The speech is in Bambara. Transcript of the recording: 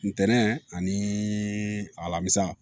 Ntɛnɛn ani alamisa